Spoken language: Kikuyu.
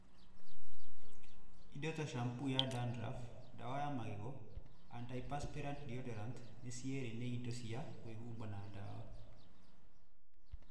Indo ta shampoo ya dandruff, dawa ya magego, antidperspirant deodorant nĩ cierĩ nĩ indo cia kwĩhuba na dawa .